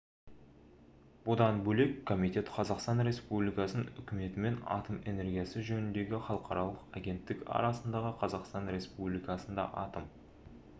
бұдан бөлек комитет қазақстан республикасының үкіметі мен атом энергиясы жөніндегі іалықаралық агенттік арасындағы қазақстан республикасында атом